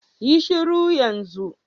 Yi shuru yan zun.